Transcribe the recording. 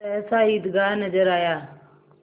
सहसा ईदगाह नजर आया